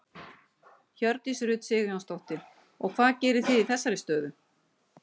Hjördís Rut Sigurjónsdóttir: Og hvað gerið þið í þeirri stöðu?